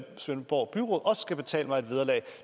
svendborg byråd også skal betale mig et vederlag